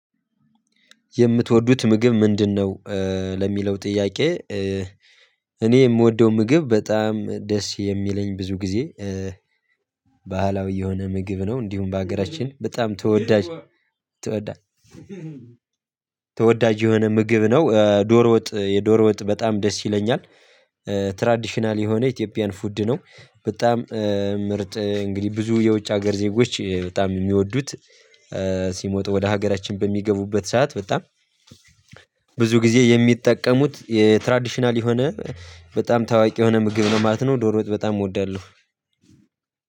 የምትወዱት ምግብ ምንድነው? ለሚለው ጥያቄ እኔ የምወደው ምግብ በጣም ደስ የሚለኝ ብዙ ጊዜ። ባህላዊ የሆነ ምግብ ነው እንዲሁም በሀገራችን በጣም ተወዳጅ ተወዳጅ ተወዳጅ የሆነ ምግብ ነው። ዶሮ ወጥ የዶሮ ወጥ በጣም ደስ ይለኛል። ትራዲሽናል የሆነ ኢትዮጵያን ፉድ ነው በጣም ምርጥ እንግዲህ ብዙ የውጭ ሀገር ዜጎች በጣም የሚወዱት ሲሞት ወደ ሀገራችን በሚገቡበት ሰዓት በጣም ብዙ ጊዜ የሚጠቀሙት የትራዲሽናል የሆነ በጣም ታዋቂ የሆነ ምግብ ነው ማለት ነው። ዶሮውት በጣም እወዳለሁ።